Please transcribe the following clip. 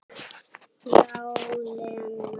Já, Lena.